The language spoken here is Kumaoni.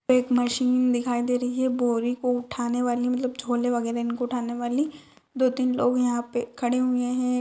एक मशीन दिखाई दे रही है बोरी को उठाने वाली मतलब झोले वगेरा इनको उठाने वाली दो तीन लोग यहाँ पे खड़े हुए हैं ।